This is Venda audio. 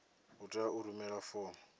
u tea u rumela fomo